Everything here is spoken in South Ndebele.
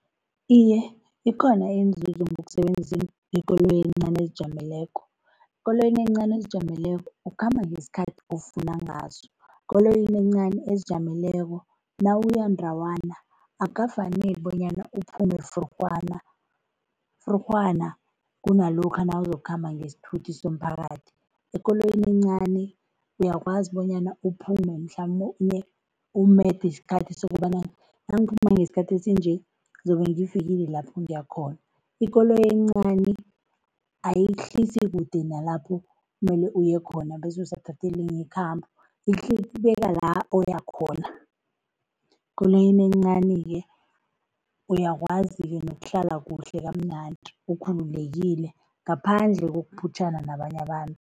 Iye, ikhona inzuzo ngokusebenzisa ikoloyi encani ezijameleko. Ikoloyi encani ezizijameleko ukhamba ngesikhathi ofuna ngaso, ekoloyini encani ezijameleko nawuya ndawana akukafaneli bonyana uphume frurhwana, frurhwana kunalokha nawuzokukhamba ngesithuthi somphakathi. Ekoloyini encani uyakwazi bonyana uphume mhlamunye umede isikhathi sokobana nangiphuma ngesikhathi esinje, zobe ngifikile lapho ngiyakhona. Ikoloyi encani ayikuhlisi kude nalapho mele uyekhona bese usathathe elinye ikhambo, ikubeka lapho oyakhona. Ekoloyini encani-ke uyakwazi-ke nokuhlala kuhle kamnandi, ukhululekile, ngaphandle kokuphutjhana nabanye abantu.